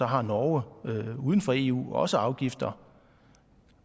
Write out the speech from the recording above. har norge uden for eu også afgifter